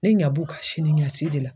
Ne ɲa b'u ka sini ɲɛsi de la.